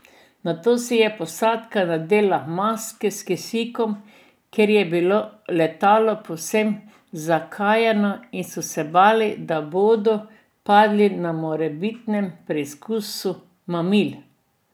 Nato si je posadka nadela maske s kisikom, ker je bilo letalo povsem zakajeno in so se bali, da bodo padli na morebitnem preizkusu mamil.